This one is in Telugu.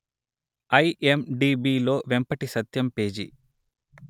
ఐఎమ్డిబిలో వెంపటి సత్యం పేజీ